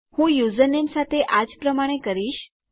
હું યુઝરનેમ સાથે આજ પ્રમાણે કરીશ